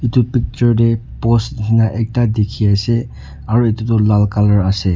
etu picture te post nishe na ekta dikhi ase aru etutoh lal colour ase.